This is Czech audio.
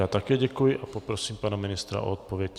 Já také děkuji a poprosím pana ministra o odpověď.